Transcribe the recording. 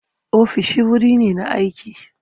Ofisoshi wuri ne na aiki.